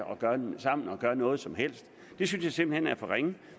gøre noget som helst det synes jeg simpelt hen er for ringe